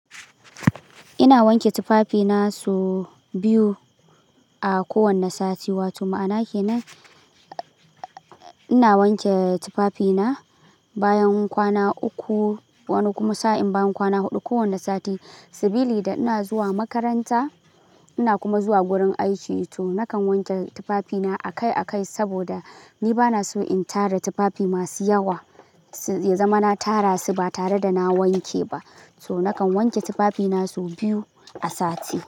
Ina wanke tufafina sau biyu a kowane sati. Wato ma'ana ke nan ina wanke tufafina bayan kwana uku wani kuma sa'in bayan kwana huɗu kowane sati. Sabili da ina zuwa makaranta ina kuma zuwa gurin aiki to nakan wanke tufafina akai-akai saboda ni bana so in tara tufafi masu yawa. Ya zama na tara su ba tare da na wanke ba. So nakan wanke tufafina sau biyu a sati.